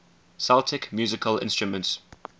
celtic musical instruments